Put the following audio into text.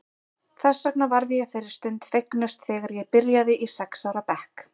Þess vegna varð ég þeirri stund fegnust þegar ég byrjaði í sex ára bekk.